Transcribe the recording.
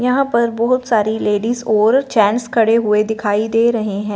यहां पर बहुत सारी लेडिस और जेंट्स खड़े हुएं दिखाई दे रहें हैं।